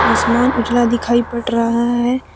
आसमान उजला दिखाई पड़ रहा है।